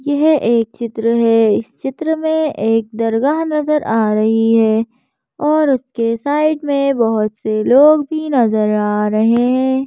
यह एक चित्र है इस चित्र में एक दरगाह नजर आ रही है और उसके साइड में बहुत से लोग भी नजर आ रहे--